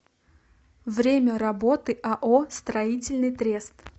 время работы ао строительный трест